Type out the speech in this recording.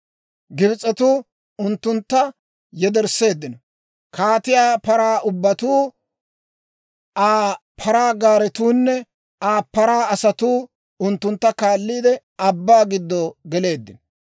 Gibs'etuu unttuntta yedersseeddino; kaatiyaa paraa ubbatuu, Aa paraa gaaretuunne Aa paraa asatuu unttuntta kaalliide, abbaa giddo geleeddino.